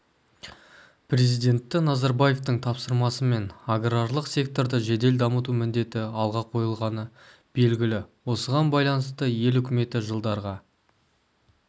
президенті назарбаевтың тапсырмасымен аграрлық секторды жедел дамыту міндеті алға қойылғаны белгілі осыған байланысты ел үкіметі жылдарға